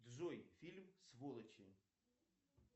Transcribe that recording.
джой фильм сволочи